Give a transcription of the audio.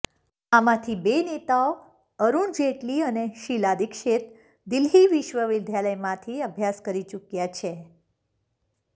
આમાંથી બે નેતાઓ અરૂણ જેટલી અને શીલા દિક્ષીત દિલ્હી વિશ્વવિદ્યાલયમાંથી અભ્યાસ કરી ચૂક્યા છે